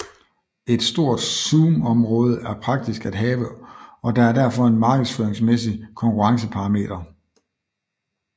Et stort zoomområde er praktisk at have og der er derfor en markedføringsmæssig konkurrenceparameter